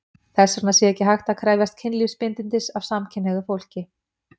Þess vegna sé ekki hægt að krefjast kynlífsbindindis af samkynhneigðu fólki.